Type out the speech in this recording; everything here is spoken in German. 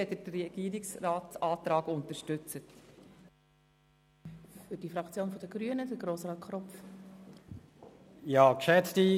Danke, wenn Sie den Antrag des Regierungsrats unterstützen.